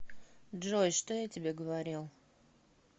джой что я тебе говорил